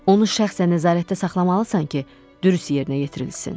Onu şəxsən nəzarətdə saxlamalısan ki, dürüst yerinə yetirilsin.